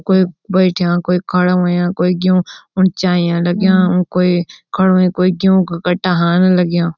कुई बैठ्या कुई खड़ा होंया कुई ग्यूं उन चाय्यां लग्यां कुई खडू हुयुं कुई ग्यूं का कट्टा हालना लग्याँ।